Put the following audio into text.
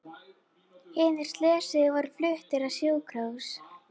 Hinir slösuðu voru fluttir á sjúkrahús